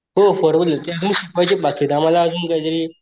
हो फॉर्मुलेत ते आम्हला अजून शिकवायचं बाकी आम्हला अजून काय तरी